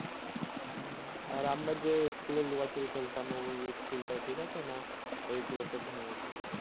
আর আমরা যে school এ লুকোচুরি খেলতাম ওই school টা ঠিকাছে না ওই গুলোকে ভেঙে গেছে